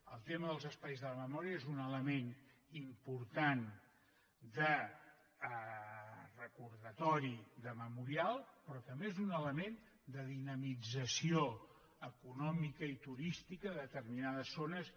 el tema dels espais de la memòria és un element important de recordatori de memorial però també és un element de dinamització econòmica i turística de determinades zones